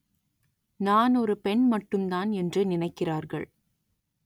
நான் ஒரு பெண் மட்டுந்தான் என்று நினைக்கிறார்கள்